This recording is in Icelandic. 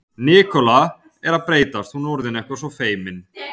Helmút, bókaðu hring í golf á fimmtudaginn.